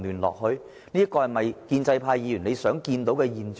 這是否建制派議員想看到的現象？